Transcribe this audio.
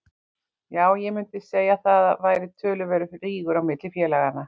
Já ég mundi segja að það væri töluverður rígur á milli félaganna.